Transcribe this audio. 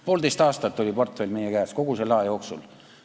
Kogu selle aja jooksul oli poolteist aastat portfell meie käes.